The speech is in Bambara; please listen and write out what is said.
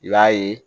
I b'a ye